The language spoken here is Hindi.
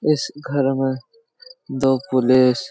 इस घर में दो पुलिस --